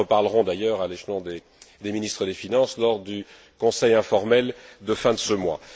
Nous en reparlerons d'ailleurs à l'échelon des ministres des finances lors du Conseil informel de fin de ce mois.